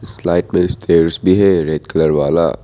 Slide में stairs भी है रेड कलर वाला।